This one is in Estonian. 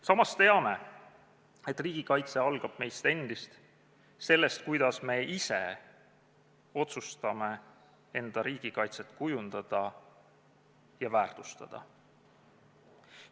Samas teame, et riigikaitse algab meist endist, sellest, kuidas me ise otsustame oma riigikaitset kujundada ja väärtustada.